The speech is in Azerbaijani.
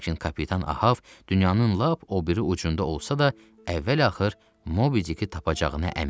Lakin kapitan Ahav dünyanın lap o biri ucunda olsa da, əvvəl-axır Mobidiki tapacağına əmin idi.